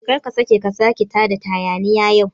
Kar ka saka ka tada hayaniya yau